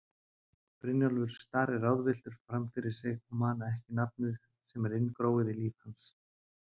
Brynjólfur starir ráðvilltur framfyrir sig og man ekki nafnið sem er inngróið í líf hans.